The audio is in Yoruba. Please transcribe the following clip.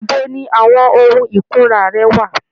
Ibo ni àwọn ohun ìkunra rẹ wà?